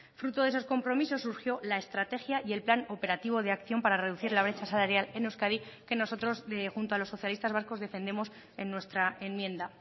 fruto de esos compromisos surgió la estrategia y el plan operativo de acción para reducir la brecha salarial en euskadi que nosotros junto a los socialistas vascos defendemos en nuestra enmienda